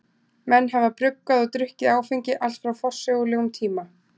Menn hafa bruggað og drukkið áfengi allt frá forsögulegum tíma.